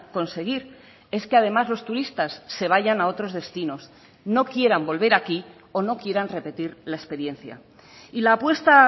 conseguir es que además los turistas se vayan a otros destinos no quieran volver aquí o no quieran repetir la experiencia y la apuesta